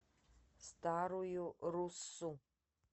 старую руссу